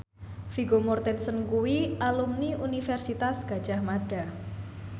Vigo Mortensen kuwi alumni Universitas Gadjah Mada